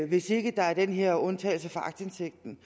hvis ikke der er den her undtagelse for aktindsigten